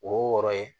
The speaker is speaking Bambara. O wɔɔrɔ ye